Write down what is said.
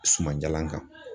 Suman jalan kan.